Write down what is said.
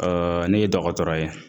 ne ye dɔgɔtɔrɔ ye